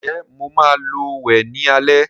Ǹjẹ́ Mo maa lọ wẹ̀ ní alẹ́